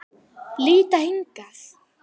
Líta hingað!